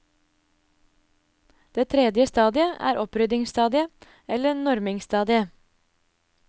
Det tredje stadiet er oppryddingsstadiet, eller normingsstadiet.